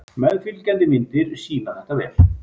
Meðfylgjandi myndir sýna þetta vel.